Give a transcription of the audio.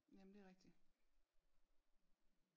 Jamen det rigtigt